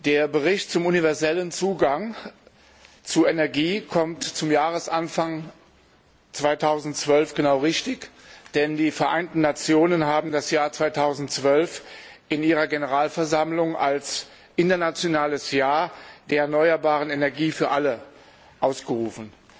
Der Bericht zum universellen Zugang zu Energie kommt zum Jahresanfang 2012 genau richtig, denn die Vereinten Nationen haben das Jahr 2012 in ihrer Generalversammlung zum Internationalen Jahr der erneuerbaren Energie für alle ausgerufen.